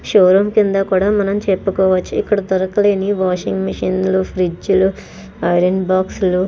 show room కింద కూడా మనం చెప్పుకోవచ్చు ఇక్కడ దొరకలేని వాషింగ్ మెషిన్ లు ఫ్రిడ్జ్ లు ఐరన్ బాక్సు లు --